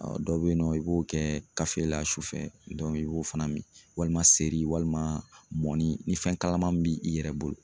dɔ bɛ yen nɔ i b'o kɛ kafoyila su fɛ i b'o fana min walima seri walima mɔni ni fɛn kalaman min b'i i yɛrɛ bolo.